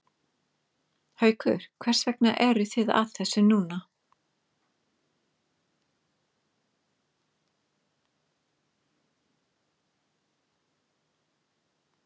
Haukur hvers vegna eruð þið að þessu núna?